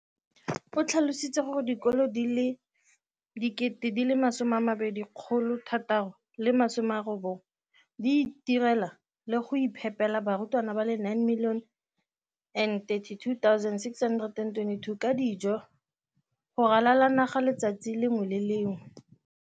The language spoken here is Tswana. O tlhalositse gore dikolo di le 20 619 di itirela le go iphepela barutwana ba le 9 032 622 ka dijo go ralala naga letsatsi le lengwe le le lengwe.